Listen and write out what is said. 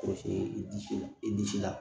i disi la i disi la